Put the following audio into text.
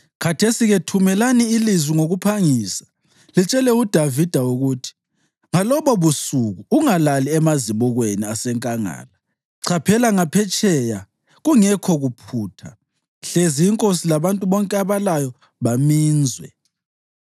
Khathesi-ke thumelani lizwi ngokuphangisa litshele uDavida ukuthi, ‘Ngalobubusuku ungalali emazibukweni asenkangala; chaphela ngaphetsheya kungekho kuphutha, hlezi inkosi labantu bonke abalayo baminzwe.’ ”